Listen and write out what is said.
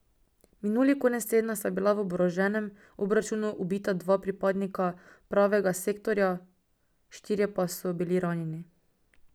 Minuli konec tedna sta bila v oboroženem obračunu ubita dva pripadnika Pravega sektorja, štirje pa so bili ranjeni.